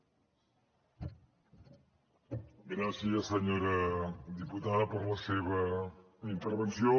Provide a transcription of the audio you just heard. gràcies senyora diputada per la seva intervenció